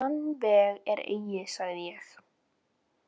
Þann veg er eigi, sagði ég.